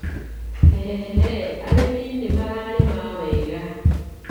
Hehe arĩmi nĩ mararĩma wega